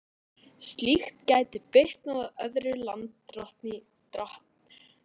Slíkt gæti bitnað á öðrum lánardrottnum hlutafélags.